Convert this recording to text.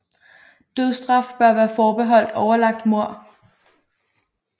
Dødsstraf bør være forbeholdt overlagt mord